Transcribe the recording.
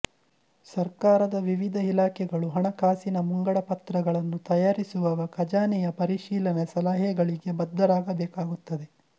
ಸರ್ಕಾರದ ವಿವಿಧ ಇಲಾಖೆಗಳು ಹಣಕಾಸಿನ ಮುಂಗಡ ಪತ್ರಗಳನ್ನು ತಯಾರಿಸುವಾಗ ಖಜಾನೆಯ ಪರಿಶೀಲನೆ ಸಲಹೆಗಳಿಗೆ ಬದ್ದರಾಗಬೇಕಾಗುತ್ತದೆ